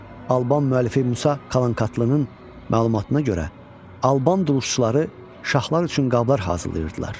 Alban müəllifi Musa Kalankatlının məlumatına görə, Alban duluzçuları şahlar üçün qablar hazırlayırdılar.